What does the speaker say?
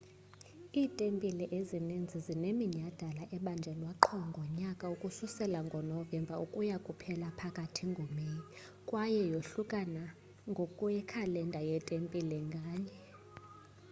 iitempile ezininzi zineminyhadala ebanjwa qho ngonyaka ukususela ngonovemba ukuya kuphela phakathi ngomeyi kwaye yohlukana ngokwekhalenda yetempile nganye